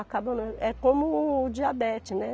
É como o diabetes, né?